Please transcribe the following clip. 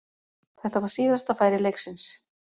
Þetta var síðasta færi leiksins.